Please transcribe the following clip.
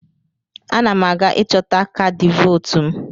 Ana m aga ịchọta kaadị vootu m.